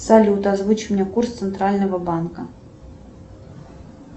салют озвучь мне курс центрального банка